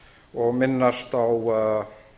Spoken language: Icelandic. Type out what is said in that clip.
og minnast á